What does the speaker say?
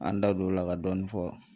An da don o la ka dɔɔni fɔ